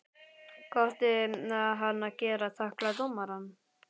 Hvað átti hann að gera, tækla dómarann?